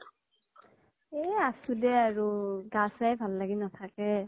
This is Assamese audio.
এ আছো দে আৰু। গা চা ভাল লাগি নাথাকে।